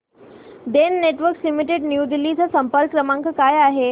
Den networks limited new Delhi चा संपर्क क्रमांक काय आहे